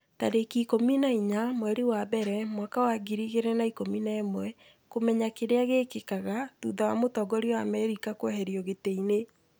tarĩki ikũmi na inya mweri wa mbere mwaka wa ngiri igĩrĩ na ikũmi na ĩmweKũmenya kĩrĩa gĩkĩkaga thutha wa mũtongoria wa Amerika kũeherio gĩtĩ-inĩ